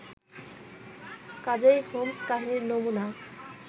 কাজেই হোমস্-কাহিনীর নমুনা